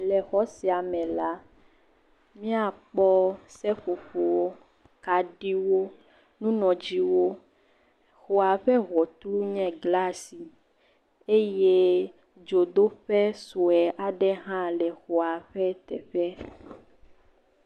Le xɔ sia me la, míakpɔ seƒoƒowo, kaɖiwo, nunɔdziwo, xɔa ƒe ŋɔtru nye glasi eye dzodoƒe sɔe aɖe hã le xɔa ƒe teƒe.